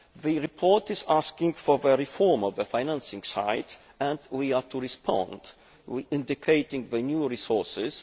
The report is asking for a reform of the financing side and we are to respond by indicating new resources.